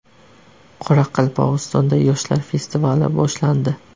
Qoraqalpog‘istonda yoshlar festivali boshlandi.